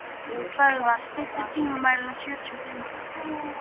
Böðvar, stilltu tímamælinn á sjötíu og fimm mínútur.